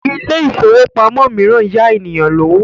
Ilé ifówópamọ́ míràn ń yá ènìyàn lówó